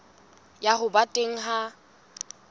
ya ho ba teng ha